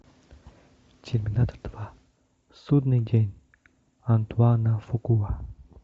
терминатор два судный день антуана фукуа